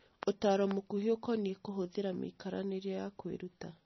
Ũtaaro Mũkuhĩ Ũkoniĩ Kũhũthĩra Mĩikaranĩrie ya Kwĩruta